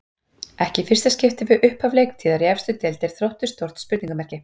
Ekki í fyrsta skipti við upphaf leiktíðar í efstu deild er Þróttur stórt spurningamerki.